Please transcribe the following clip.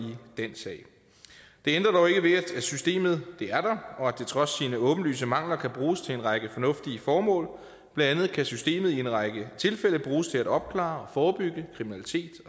den sag det ændrer dog ikke ved at systemet er der og at det trods sine åbenlyse mangler kan bruges til en række fornuftige formål blandt andet kan systemet i en række tilfælde bruges til at opklare og forebygge kriminalitet